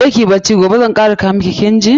Je kiyi bacci, gobe zan kara sa iki, kin ji.